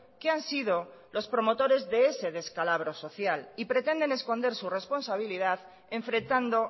que han sido los promotores de ese descalabro social y pretenden esconder su responsabilidad enfrentando